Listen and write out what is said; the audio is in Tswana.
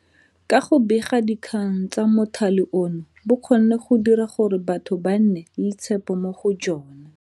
Ka go bega dikgang tsa mothale ono bo kgonne go dira gore batho ba nne le tshepo mo go jona.